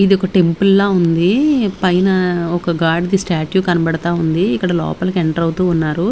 ఇది ఒక టెంపుల్ లా ఉంది పైన ఒక గాడ్ ది స్టాట్యూ కనబడతా ఉంది ఇక్కడ లోపలికి ఎంటర్ అవుతూ ఉన్నారు.